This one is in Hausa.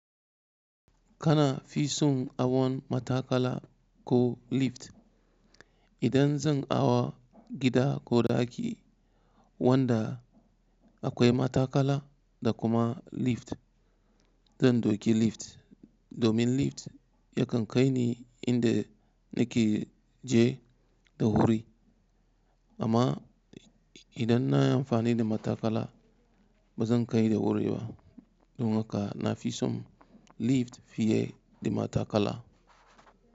Kana fi son hawan matakala ko lift? Idan zan hawa gida ko daki wanda akwai matakala da kuma lift, zan ɗauki lift domin lift yakan kai ni inda nake je da wuri. Amma idan na yi amfani da matakala ba zan kai da wuri ba domin haka na fi son lift fiye da matakala.